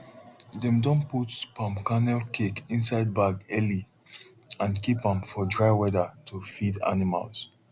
dem don put palm kernel cake inside bag early and keep am for dry weather to feed animals